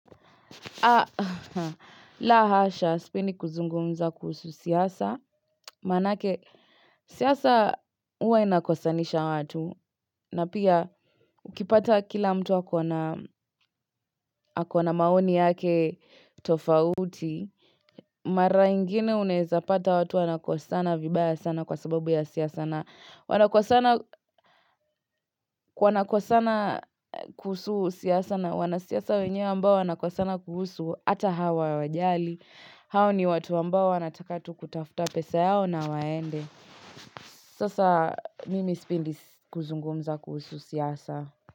La hasha, sipendi kuzungumza kuhusu siasa, maanake siasa huwa inakosanisha watu, na pia ukipata kila mtu ako na maoni yake tofauti, mara ingine unaeza pata watu wanakosana vibaya sana kwa sababu ya siasa na wanakosana kuhusu siasa na wanasiasa wenyewe ambao wanakosana kuhusu hata hawawajali. Hao ni watu ambao wanataka tu kutafuta pesa yao na waende. Sasa mimi sipendi kuzungumza kuhusu siasa.